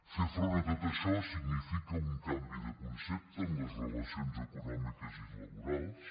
fer front a tot això significa un canvi de concepte en les relacions econòmiques i laborals